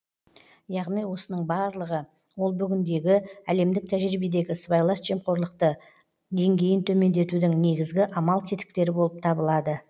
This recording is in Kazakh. яғни осының барлығы ол бүгіндегі әлемдік тәжірибедегі сыбайлас жемқорлықты деңгейін төмендетудің негізгі амал тетіктері боп табылады